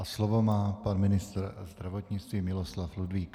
A slovo má pan ministr zdravotnictví Miloslav Ludvík.